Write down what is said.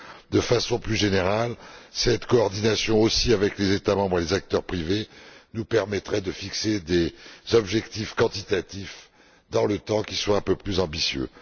De façon plus générale, cette coordination, y compris avec les États membres et les acteurs privés, nous permettrait de fixer des objectifs quantitatifs dans le temps qui soient un peu plus ambitieux.